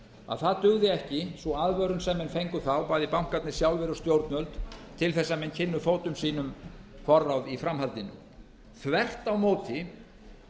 að það dugði ekki sú aðvörun sem menn fengu þá bæði bankarnir sjálfir og stjórnvöld til að menn kynnu fótum sínum forráð í framhaldinu þvert